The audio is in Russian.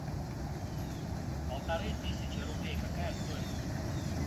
полторы тысячи рублей какая стоимость